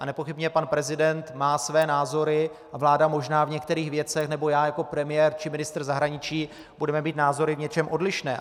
A nepochybně pan prezident má své názory a vláda možná v některých věcech nebo já jako premiér či ministr zahraničí budeme mít názory v něčem odlišné.